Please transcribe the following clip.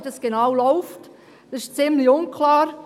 Das ist ziemlich unklar.